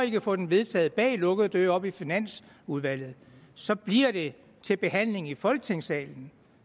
kan få den vedtaget bag lukkede døre oppe i finansudvalget så bliver det til behandling i folketingssalen